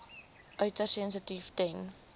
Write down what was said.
uiters sensitief ten